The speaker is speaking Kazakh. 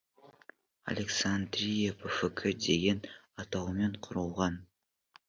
александрия пфк деген атаумен құрылған